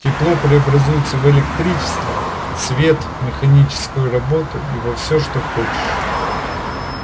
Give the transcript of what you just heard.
тепло преобразуется в электричество свет механическую работу и во всё что хочешь